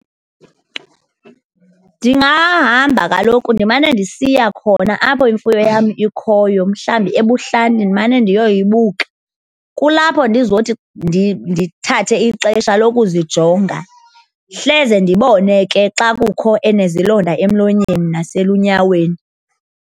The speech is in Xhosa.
Ndingahamba kaloku ndimane ndisiya khona apho imfuyo yam ikhoyo, mhlawumbi ebuhlanti, ndimane ndiyoyibuka. Kulapho ndizothi ndithathe ixesha lokuzijonga hleze ndibone ke xa kukho enezilonda emlonyeni naselunyaweni.